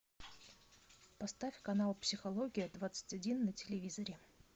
поставь канал психология двадцать один на телевизоре